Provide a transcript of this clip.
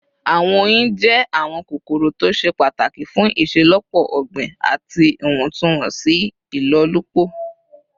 Awọn oyin jẹ awọn kokoro to ṣe pataki fun iṣelọpọ ogbin ati iwọntunwọnsi ilolupo